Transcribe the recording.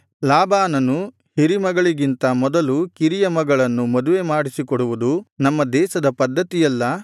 ಲಾಬಾನನು ಹಿರಿ ಮಗಳಿಗಿಂತ ಮೊದಲು ಕಿರಿಯ ಮಗಳನ್ನು ಮದುವೆ ಮಾಡಿಸಿಕೊಡುವುದು ನಮ್ಮ ದೇಶದ ಪದ್ಧತಿಯಲ್ಲ